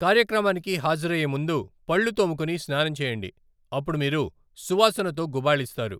కార్యక్రమానికి హాజరయ్యే ముందు పళ్ళు తోముకుని స్నానం చేయండి, అప్పుడు మీరు సువాసనతో గుబాళిస్తారు .